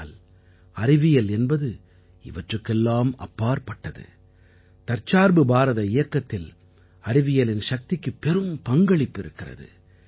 ஆனால் அறிவியல் என்பது இவற்றுக்கெல்லாம் அப்பாற்பட்டது தற்சார்பு பாரத இயக்கத்தில் அறிவியலின் சக்திக்கு பெரும் பங்களிப்பு இருக்கிறது